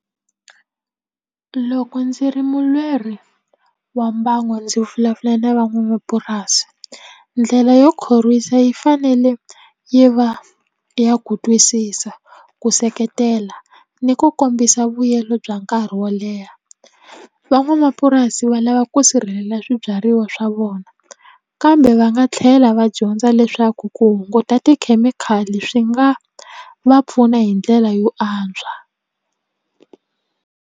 Loko ndzi ri mulweri wa mbango ndzi vulavula na van'wamapurasi ndlela yo khorwisa yi fanele yi va ya ku twisisa ku seketela ni ku kombisa vuyelo bya nkarhi wo leha van'wamapurasi va lava ku sirhelela swibyariwa swa vona kambe va nga tlhela va dyondza leswaku ku hunguta tikhemikhali swi nga va pfuna hi ndlela yo antswa.